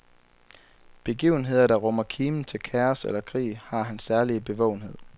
Begivenheder, der rummer kimen til kaos eller krig, har hans særlige bevågenhed.